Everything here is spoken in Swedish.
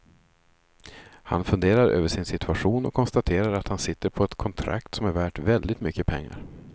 Han funderar över sin situation och konstaterar att han sitter på ett kontrakt som är värt väldigt mycket pengar.